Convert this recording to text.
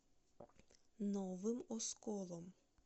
новым осколом